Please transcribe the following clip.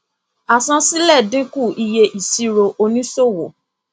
àsansílẹ dínkù iye ìsirò òníṣòwò